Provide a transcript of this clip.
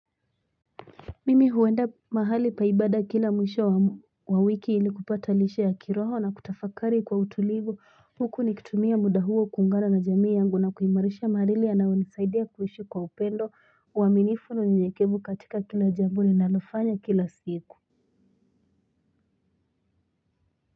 Mimi huenda mahali pa ibada kila mwisho wa wiki ili kupata lishe ya kiroho na kutafakari kwa utulivu huku nikitumia muda huo kuungana na jamii yangu na kuimarisha mareli yanayo ni saidia kuishi kwa upendo uaminifu na unyenyekevu katika kila jambo ninalo fanya kila siku.